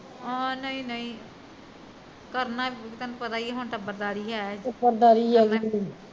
ਹਾਂ ਨਹੀਂ ਨਹੀਂ ਕਰਨਾ ਈ ਐ ਟੱਬਰਦਾਰੀ ਦਾ ਕੰਮ ਐ